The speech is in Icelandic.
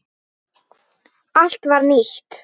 Allt var nýtt.